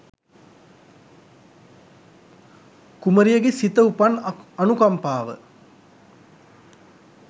කුමරියගේ සිත උපන් අනුකම්පාව